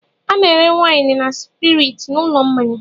A na-ere waịnị na spiriiti n'ụlọ mmanya.